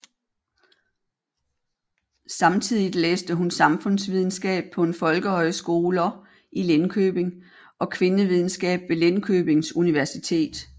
Samtidigt læste hun samfundsvidenskab på en folkehøjskoler i Linköping og kvindevidenskab ved Linköpings Universitet